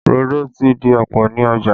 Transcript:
Rodo ti di ọ̀pọ̀ ní ọjà